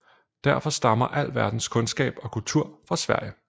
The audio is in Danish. Derfor stammer al verdens kundskab og kultur fra Sverige